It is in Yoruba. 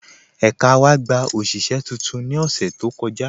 Ẹka wa gbà oṣiṣẹ̀ tuntun ni ọṣẹ̀ tó kọja